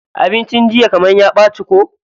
Abincin jiya kaman ya ɓaci ko?